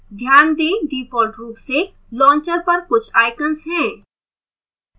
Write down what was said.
ध्यान दें default रूप से launcher पर कुछ icons हैं